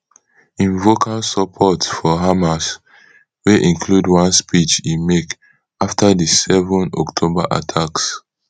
im vocal support for hamas wey include one speech e make afta di seven october attacks